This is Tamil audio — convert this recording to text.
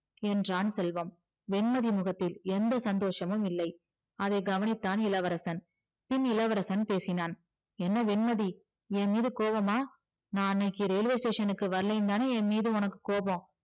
என்றான் செல்வம் வெண்மதி முகத்தில் எந்த சந்தோஷமும் இல்லை அதை கவனித்தான் இளவரசன் பின் இளவரசன் பேசினான் என்ன வெண்மதி என்மீது கோவமா நா அன்னைக்கி railway station க்கு வரலேனுதான என்மீது உனக்கு கோவம்